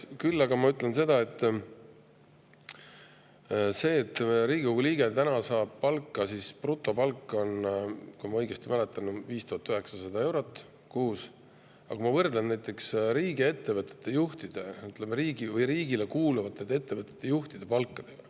Küll aga ütlen seda, et Riigikogu liige saab palka – see on brutopalk, kui ma õigesti mäletan – 5900 eurot kuus ja kui ma võrdlen seda näiteks riigiettevõtete, riigile kuuluvate ettevõtete juhtide palkadega …